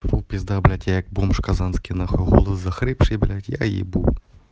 вот пизда блять я бомж казанский на хуй голос захрипший блять я ебу